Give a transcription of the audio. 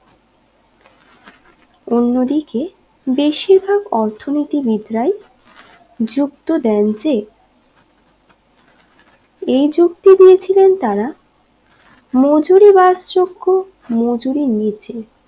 অন্য দিকে বেশির ভাগ অর্থনীতিবীদরাই যুক্ত দেন যে এই যুক্তি দিয়েছিলেন তারা মজুরি বাস যোগ্য মজুরি নিচে